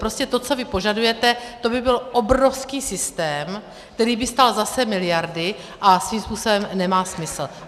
Prostě to, co vy požadujete, to by byl obrovský systém, který by stál zase miliardy a svým způsobem nemá smysl.